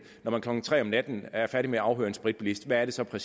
når man klokken tre om natten er færdig med at afhøre en spritbilist hvad er det så der